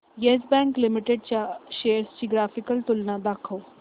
yes Bank Limited च्या shares ची graphical तुलना दाखव